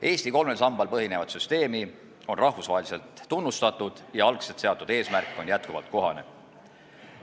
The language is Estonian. Eesti kolmel sambal põhinevat süsteemi on rahvusvaheliselt tunnustatud ja algselt seatud eesmärk on jätkuvalt kohane.